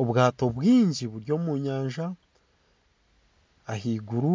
Obwaato bwingi buri omu nyanja ahaiguru